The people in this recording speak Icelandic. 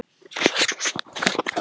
Margrét Hrönn.